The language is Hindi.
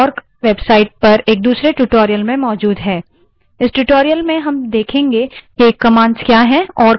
इस tutorial में हम देखेंगे कि commands क्या हैं और commands व्याख्याकार यानि interpreter क्या है